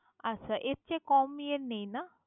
আচ্ছা এর চেয়ে কম ইয়ের নেই না?